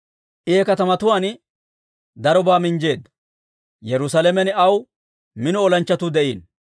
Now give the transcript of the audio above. I he katamatuwaan darobaa minjjeedda. Yerusaalamen aw mino olanchchatuu de'iino.